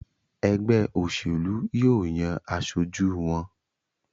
ègbé òṣèlú yíò yàn aṣojú wón.